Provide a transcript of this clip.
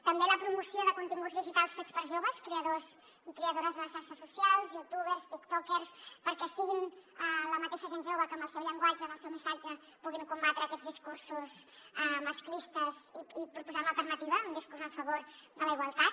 també la promoció de continguts digitals fets per joves creadors i creadores de les xarxes socials youtubers tiktokers perquè siguin la mateixa gent jove els que amb el seu llenguatge amb el seu missatge puguin combatre aquests discursos masclistes i proposar hi una alternativa un discurs en favor de la igualtat